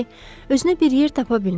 özünə bir yer tapa bilmirdi.